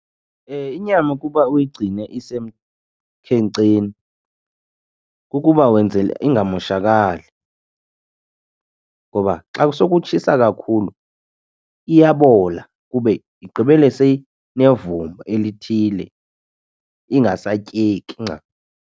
Inyama ukuba uyigcine isemkhenkceni kukuba wenzela ingamoshakali ngoba xa sekutshisa kakhulu iyabola kube igqibele seyinevumba elithile ingasatyeki .